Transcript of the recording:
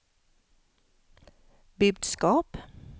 budskap